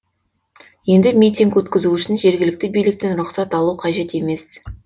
енді митинг өткізу үшін жергілікті биліктен рұқсат алу қажет емес